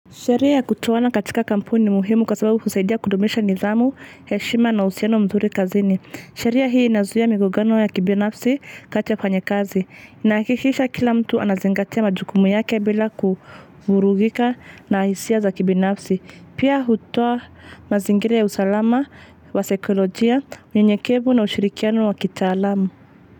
Sheria ya kutuoana katika kampuni ni muhimu kwa sababu kusaidia kudumisha nidhamu heshima na uhusiano mzuri kazini. Sheria hii inazuia migogano ya kibinafsi kati ya wafanya kazi. Inahakishisha kila mtu anazingatia majukumu yake bila kuvurugika na hisia za kibinafsi. Pia hutoa mazingiria ya usalama wa saikolojia, unyenyekevu na ushirikiano wa kitaalamu.